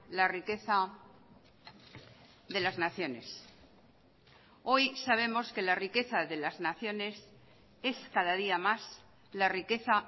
la riqueza de las naciones hoy sabemos que la riqueza de las naciones es cada día más la riqueza